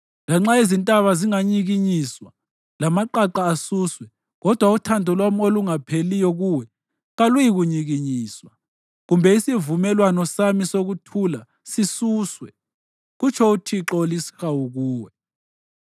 Lanxa izintaba zinganyikinyiswa, lamaqaqa asuswe, kodwa uthando lwami olungapheliyo kuwe kaluyikunyikinyiswa, kumbe isivumelwano sami sokuthula sisuswe,” kutsho uThixo olesihawu kuwe.